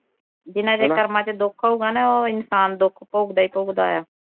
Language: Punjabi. ਜਿਨ੍ਹਾਂ ਦੇ ਕਰਮਾਂ ਵਿਚ ਦੁੱਖ ਹਊਗਾ ਨਾ ਉਹ ਇਨਸਾਨ ਦੁਖ ਭੋਗਦਾ ਈ ਭੋਗਦਾ ਆ